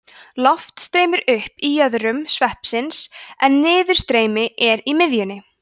loft streymir upp í jöðrum sveipsins en niðurstreymi er í miðjunni